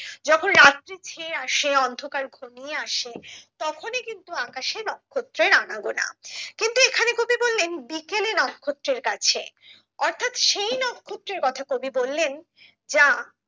যখন রাত্রি ছেয়ে আসে অন্ধকার ঘনিয়ে আসে তখনি কিন্তু আকাশে নক্ষত্রের আনাগোনা। কিন্তু এখানে কবি বললেন বিকেলে নক্ষত্রের কাছে অর্থাৎ সেই নক্ষত্রের কথা কবি বললেন যা